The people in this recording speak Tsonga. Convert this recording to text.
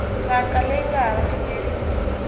ndzhaka leyi nga hava xileriso